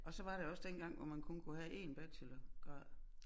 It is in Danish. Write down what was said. Og så var der også dengang hvor man kun kunne have én bachelorgrad